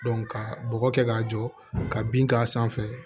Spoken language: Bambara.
ka bɔgɔ kɛ k'a jɔ ka bin k'a sanfɛ